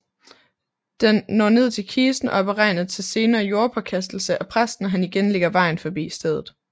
Den når ned til kisten og er beregnet til senere jordpåkastelse af præsten når han igen lægger vejen forbi stedet